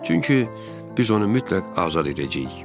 Çünki biz onu mütləq azad edəcəyik.